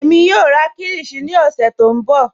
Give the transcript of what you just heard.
Ẹmi yọọ rà kílíshì ní ọ̀ṣẹ̀ tó nbọ.